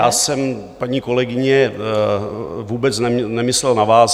Já jsem, paní kolegyně, vůbec nemyslel na vás.